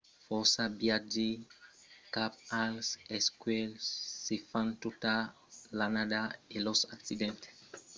fòrça viatges cap als escuèlhs se fan tota l'annada e los accidents deguts a unas d'aquestas causas suls escuèlhs son rars